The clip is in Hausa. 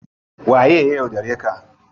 Waye ya yaudare ka?